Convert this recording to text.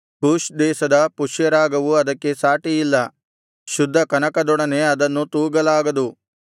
Cush ದೇಶದ ಪುಷ್ಯರಾಗವು ಅದಕ್ಕೆ ಸಾಟಿಯಿಲ್ಲ ಶುದ್ಧ ಕನಕದೊಡನೆ ಅದನ್ನು ತೂಗಲಾಗದು